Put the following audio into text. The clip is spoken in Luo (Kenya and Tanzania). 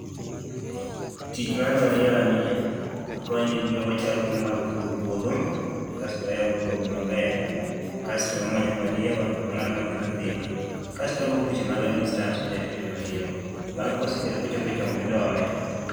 Tich mar mariewa ni e okonyo gi wachako gi e yoo mar puro puodho, kasto wayoro puodho maber, kasto wamanyo mariewa to wangado mathindo thindo kasto wago buche mag a distance minya kete mariewa, bang' kawaseketo kochopo e chong tidoye